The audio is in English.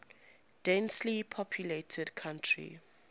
densely populated country